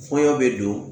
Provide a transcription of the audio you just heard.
Kɔɲɔ bɛ don